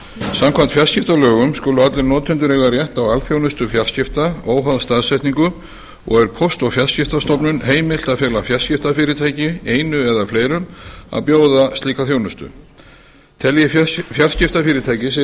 samkvæmt fjarskiptalögum skulu allir notendur eiga rétt á alþjónustu fjarskipta óháð staðsetningu og er póst og fjarskiptastofnun heimilt að fela fjarskiptafyrirtæki einu eða fleirum að bjóða slíka þjónustu telji fjarskiptafyrirtæki sig